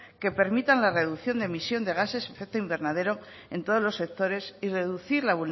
que permitan la reducción de emisión de gases de efecto invernadero en todos los sectores y reducir